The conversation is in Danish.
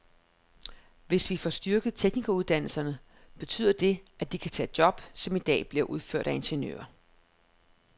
Hvis vi får styrket teknikeruddannelserne, betyder det, at de kan tage job, som i dag bliver udført af ingeniører.